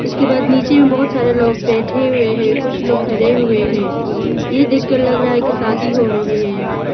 उसके बाद नीचे में बहुत सारे लोग बैठे हुए है कुछ लोग खड़े हुए है यह देखकर लग रहा है कि शादी हो रही है यहां प --